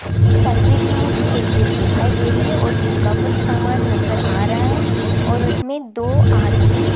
इस तस्वीर में मुझे एक जीम दिखाई दे रही है और जिम का कुछ सामान नजर आ रहा है और उसमें दो आदमी --